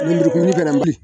Lemurukumuni